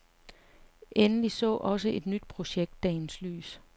Endelig så også et nyt projekt dagens lys.